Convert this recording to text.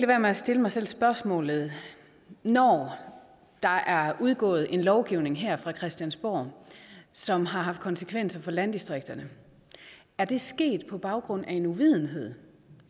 være med at stille mig selv spørgsmålet når der er udgået en lovgivning her fra christiansborg som har haft konsekvenser for landdistrikterne er det så sket på baggrund af en uvidenhed